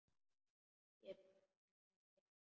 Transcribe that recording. Ég bara nenni því ekki.